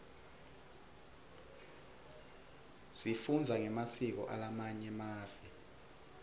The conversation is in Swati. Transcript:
sifundza ngemasiko alamanye mave